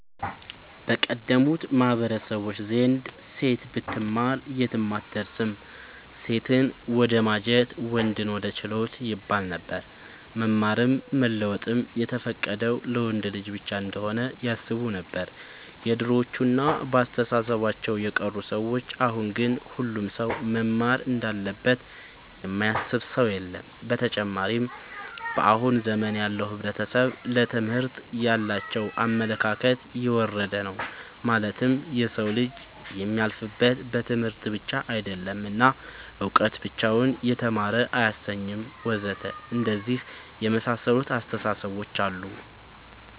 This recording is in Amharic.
በቀደሙት ማህበረሰቦች ዘንድ ሴት ብትማር የትም አትደርስም ሴትን ወደማጀት ወንድን ወደ ችሎት ይባለነበር። መማርም መለወጥም የተፈቀደው ለወንድ ልጅ ብቻ እንሆነ ያስቡነበር የድሮዎቹ እና በአስተሳሰባቸው የቀሩ ሰዎች አሁን ግን ሁሉም ሰው መማር እንዳለበት የማያስብ ሰው የለም። ብተጨማርም በአሁን ዘመን ያለው ሕብረተሰብ ለትምህርት ያላቸው አመለካከት የወረደ ነው ማለትም የሰው ልጅ የሚያልፍለት በትምህርት ብቻ አይደለም እና እውቀት ብቻውን የተማረ አያሰኝም ወዘተ አንደነዚህ የመሳሰሉት አስታሳሰቦች አሉ